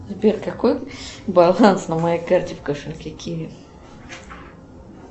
сбер какой баланс на моей карте в кошельке киви